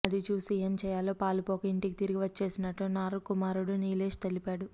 అది చూసి ఏం చేయాలో పాలుపోక ఇంటికి తిరిగి వచ్చేసినట్టు నార్ కుమారుడు నీలేశ్ తెలిపాడు